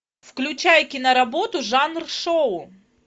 включай киноработу жанр шоу